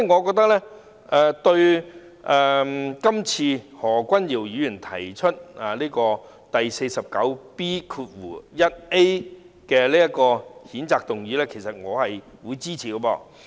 所以，對於何君堯議員根據《議事規則》第 49B 條動議譴責議員的議案，我表示支持。